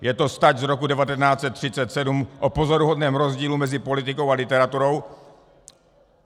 Je to stať z roku 1937 o pozoruhodném rozdílu mezi politikou a literaturou.